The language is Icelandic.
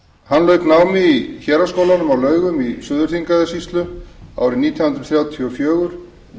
hann lauk námi í héraðsskólanum á laugum í suður þingeyjarsýslu árið nítján hundruð þrjátíu og fjögur